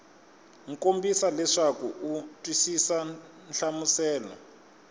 kombisa leswaku u twisisa nhlamuselo